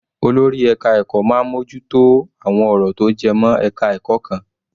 Olórí ẹka ẹ̀kọ́ máa ń mú ojú tó àwọn ọ̀rọ̀ tó jẹ mọ́ ẹka ẹ̀kọ́ kan.